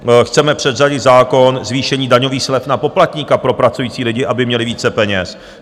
Chceme předřadit zákon zvýšení daňových slev na poplatníka pro pracující lidi, aby měli více peněz.